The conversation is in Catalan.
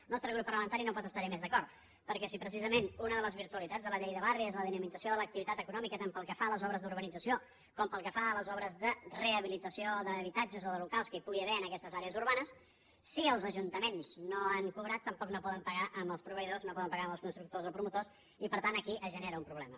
el nostre grup parlamentari no pot estar·hi més d’a cord perquè si precisament una de les virtualitats de la llei de barris és la dinamització de l’activitat econòmica tant pel que fa a les obres d’urbanització com pel que fa a les obres de rehabilitació d’habitatges o de locals que hi pu·gui haver en aquestes àrees urbanes si els ajuntaments no han cobrat tampoc no poden pagar els proveïdors no poden pagar els constructors o promotors i per tant aquí es genera un problema